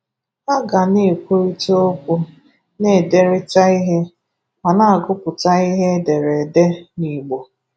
Hà gā̀ na-ekwùrìtà okwu, na-édèrìtà ihe, ma na-àgụ̀pụ̀tà ihe e dèrè édè n’Ìgbò.